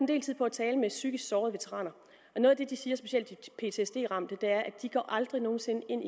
del tid på at tale med psykisk sårede veteraner og noget af det de siger specielt de ptsd ramte er at de aldrig nogen sinde igen